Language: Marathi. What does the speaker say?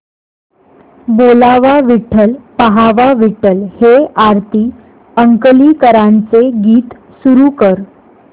बोलावा विठ्ठल पहावा विठ्ठल हे आरती अंकलीकरांचे गीत सुरू कर